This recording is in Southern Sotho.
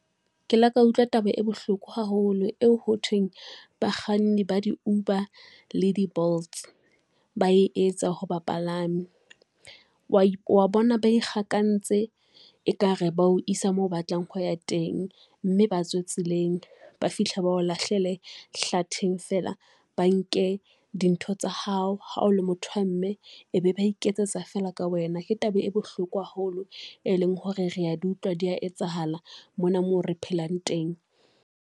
Ke le ka utlwa taba e bohloko haholo eo hothweng bakganni ba di-Uber le di-Bolts ba etsa ho bapalami, wa bona ba ikgakantse ekare bao isa moo o batlang ho ya teng mme batswe tseleng ba fihla bao lahlele hlatheng feela ba nke dintho tsa hao, ha o le motho wa mme e be ba iketsetsa feela ka wena. Ke taba e bohloko haholo e leng hore rea di utlwa di a etsahala mona mo re phelang teng.